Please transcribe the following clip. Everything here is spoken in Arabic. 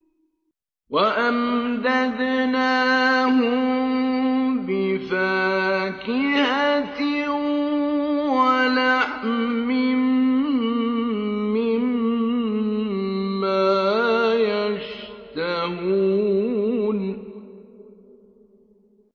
وَأَمْدَدْنَاهُم بِفَاكِهَةٍ وَلَحْمٍ مِّمَّا يَشْتَهُونَ